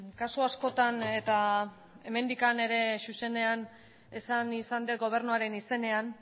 kasu askotan eta hemendik ere zuzenean esan izan dut gobernuaren izenean